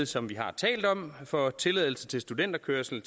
som vi har talt om for tilladelse til studenterkørsel i